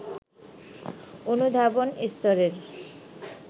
অনুধাবন স্তরের